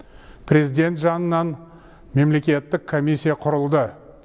президент жанынан мемлекеттік комиссия құрылды